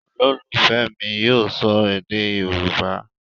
Ololufẹ mi yíò sọ èdè yorúbá.